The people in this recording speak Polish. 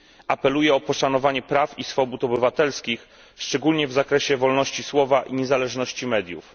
Apeluję o poszanowanie praw i swobód obywatelskich, szczególnie w zakresie wolności słowa i niezależności mediów.